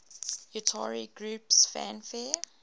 utari groups fanfare